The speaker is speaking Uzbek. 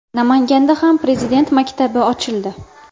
Namanganda ham Prezident maktabi ochildi .